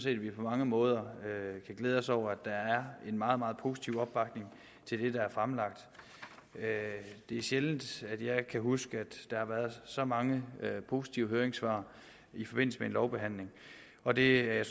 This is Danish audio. at vi på mange måder kan glæde os over at der er en meget meget positiv opbakning til det der er fremlagt det er sjældent der har været så mange positive høringssvar i forbindelse med en lovbehandling og det er jeg